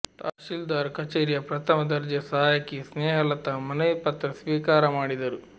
ತಹಶೀಲ್ದಾರ್ ಕಚೇರಿಯ ಪ್ರಥಮ ದರ್ಜೆ ಸಹಾಯಕಿ ಸ್ನೇಹ ಲತಾ ಮನವಿ ಪತ್ರ ಸ್ವೀಕಾರ ಮಾಡಿದರು